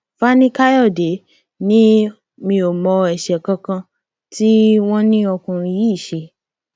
fani káyọdé ni mi ò mọ ẹṣẹ kan kan tí wọn ní ọkùnrin yìí ṣe